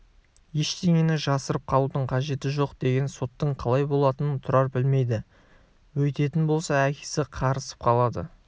ештеңені жасырып қалудың қажеті жоқ деген соттың қалай болатынын тұрар білмейді өйтетін болса әкесі қарысып қалады